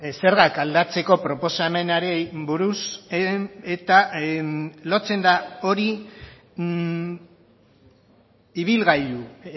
zergak aldatzeko proposamenari buruz eta lotzen da hori ibilgailu